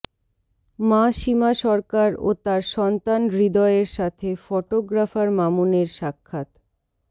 মা সীমা সরকার ও তার সন্তান হৃদয়ের সাথে ফটোগ্রাফার মামুনের সাক্ষাৎ